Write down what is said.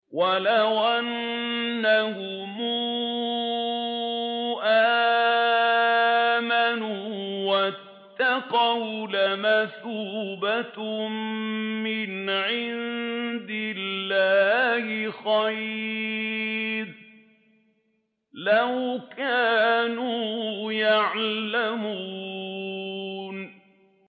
وَلَوْ أَنَّهُمْ آمَنُوا وَاتَّقَوْا لَمَثُوبَةٌ مِّنْ عِندِ اللَّهِ خَيْرٌ ۖ لَّوْ كَانُوا يَعْلَمُونَ